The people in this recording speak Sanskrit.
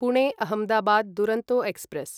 पुणे अहमदाबाद् दुरन्तो एक्स्प्रेस्